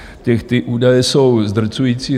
Ty údaje jsou zdrcující.